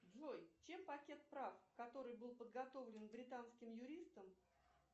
джой чем пакет прав который был подготовлен британским юристом